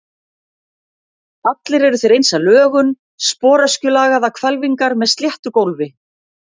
Allir eru þeir eins að lögun, sporöskjulagaðar hvelfingar með sléttu gólfi.